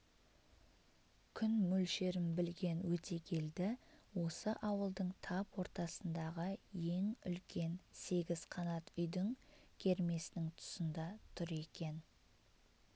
күн мөлшерін білген өтегелді осы ауылдың тап ортасындағы ең үлкен сегіз қанат үйдің кермесінің тұсында тұр екен